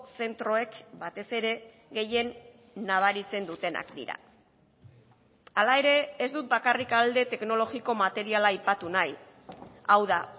zentroek batez ere gehien nabaritzen dutenak dira hala ere ez dut bakarrik alde teknologiko materiala aipatu nahi hau da